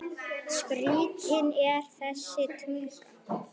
Skrítin er þessi tunga.